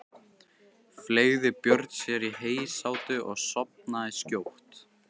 Fleygði Björn sér í heysátu og sofnaði skjótt.